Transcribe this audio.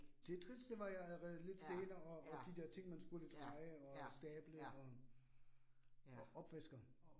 Tetris det var ja lidt senere og og de der ting, man skulle dreje og stable og. Og opvaskeren